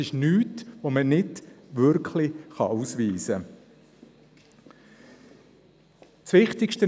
Es gibt nichts, das man nicht ausweisen könnte.